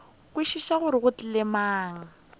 kwešiša gore go tlile bjang